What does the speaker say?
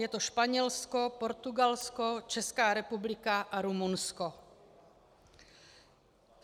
Je to Španělsko, Portugalsko, Česká republika a Rumunsko.